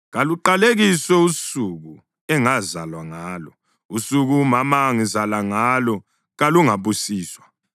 Kaluqalekiswe usuku engazalwa ngalo! Usuku umama angizala ngalo kalungabusiswa!